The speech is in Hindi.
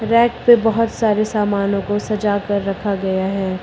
रैक पे बहुत सारे सामानों को सजा कर रखा गया है।